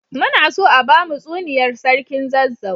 Muna so a bamu tsuniyar sarkin zazzau